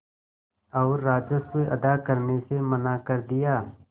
और राजस्व अदा करने से मना कर दिया